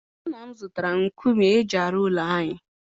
Nna m zụtara nkume eji arụ ụlọ anyị.